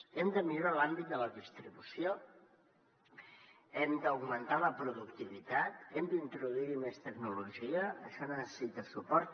hem de millorar en l’àmbit de la distribució hem d’augmentar la productivitat hem d’introduir hi més tecnologia això necessita suport